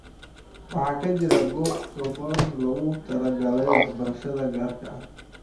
Waxaa ka jira goobo kooban oo loogu talagalay waxbarashada gaarka ah.